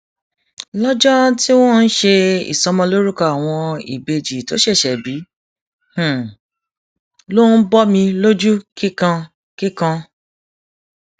lọjọ um tí wọn ń ṣe ìsọmọlórúkọ àwọn ìbejì tó ṣẹṣẹ bí ló ń bọmi lójú kíkan um kíkan